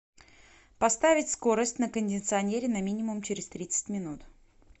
поставить скорость на кондиционере на минимум через тридцать минут